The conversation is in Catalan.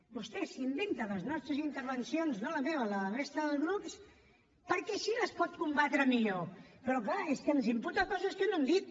vostè s’inventa les nostres intervencions no la meva la de la resta de grups perquè així les pot combatre millor però clar és que ens imputa coses que no hem dit